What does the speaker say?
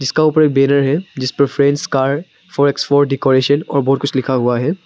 जिसका ऊपर एक बैनर है फ्रेंड्स कार डेकोरेशन और बहुत कुछ लिखा हुआ है।